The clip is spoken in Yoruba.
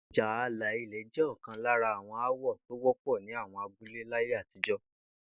Ìjà alà ilè̩ jé̩ ò̩kan lára àwo̩n aáwò̩ tó wó̩pò̩ ní àwo̩n abúlé láyé àtijó̩